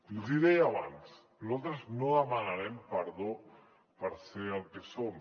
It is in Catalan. i els hi deia abans nosaltres no demanarem perdó per ser el que som